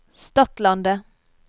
Stadlandet